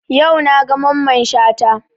Yau na ga Mamman Shata